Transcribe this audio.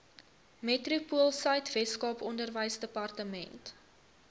metropoolsuid weskaap onderwysdepartement